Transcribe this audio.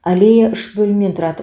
аллея үш бөлімнен тұрады